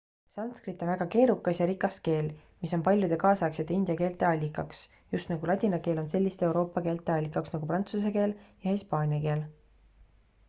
sanskrit on väga keerukas ja rikas keel mis on paljude kaasaegsete india keelte allikaks just nagu ladina keel on selliste euroopa keelte allikaks nagu prantsuse keel ja hispaania keel